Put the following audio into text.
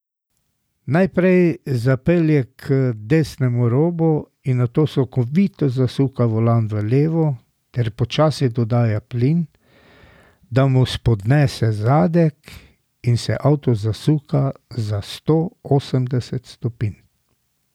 Najprej zapelje k desnemu robu in nato sunkovito zasuka volan v levo ter počasi dodaja plin, da mu spodnese zadek in se avto zasuka za sto osemdeset stopinj.